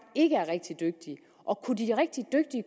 ikke er rigtig dygtige